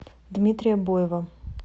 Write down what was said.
дмитрия боева